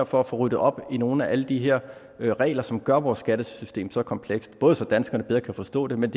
for at få ryddet op i nogle af alle de her regler som gør vores skattesystem så komplekst både så danskerne bedre kan forstå det men